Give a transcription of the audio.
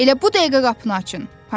Elə bu dəqiqə qapını açın.